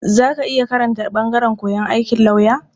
Za ka iya karanta ɓangaren koyon aikin lauya?